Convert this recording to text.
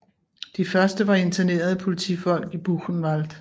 De første var internerede politifolk i Buchenwald